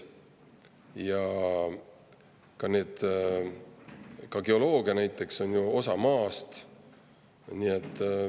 Ja ka geoloogia on ju osa maast.